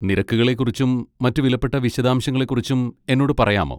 നിരക്കുകളെക്കുറിച്ചും മറ്റ് വിലപ്പെട്ട വിശദാംശങ്ങളെക്കുറിച്ചും എന്നോട് പറയാമോ?